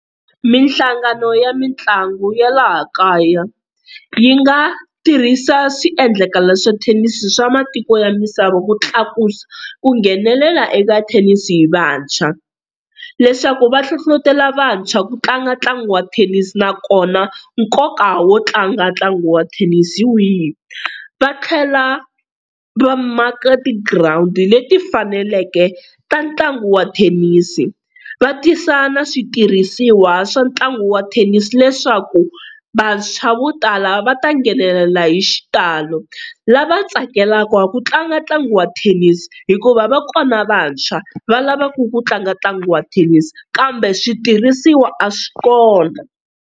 Mihlangano ya mitlangu ya laha kaya, yi nga tirhisa swiendlakalo swa thenisi swa matiko ya misava ku tlakusa ku nghenelela eka thenisi hi vantshwa, leswaku va hlohlotelo vantshwa ku tlanga ntlangu wa thenisi nakona nkoka wo tlanga ntlangu wa thenisi hi wihi, va tlhela va maka ti girawundi leti faneleke ta ntlangu wa thenisi va tisa na switirhisiwa swa ntlangu wa thenisi leswaku vantshwa vo tala va ta nghenelela hi xitalo lava tsakelaka ku tlanga ntlangu wa thenisi hikuva va kona vantshwa va lavaka ku tlanga ntlangu wa thenisi, kambe switirhisiwa a swi kona.